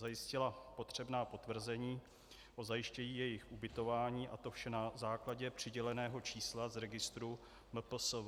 Zajistila potřebná potvrzení o zajištění jejich ubytování a to vše na základě přiděleného čísla z registru MPSV.